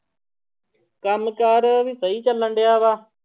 ਕੰਮ ਕਾਰ ਵੀ ਸਹੀ ਚੱਲਣਡਿਆ ਵਾ।